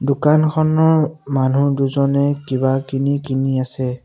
দোকানখনৰ মানুহ দুজনে কিবা কিনি কিনি আছে।